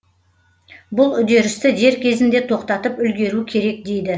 бұл үдерісті дер кезінде тоқтатып үлгеру керек дейді